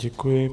Děkuji.